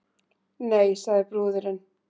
Nei, sagði brúðurin.